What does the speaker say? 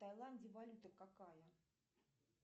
в тайланде валюта какая